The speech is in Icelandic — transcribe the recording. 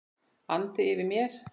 andi yfir mér.